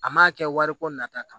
A m'a kɛ wariko nata kama